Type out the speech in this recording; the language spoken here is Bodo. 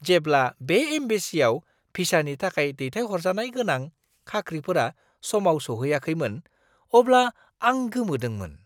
जेब्ला बे एम्बेसिआव भिसानि थाखाय दैथायहरजानाय गोनां खाख्रिफोरा समाव सौहैयाखैमोन अब्ला आं गोमोदोंमोन!